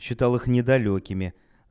считал их недалёкими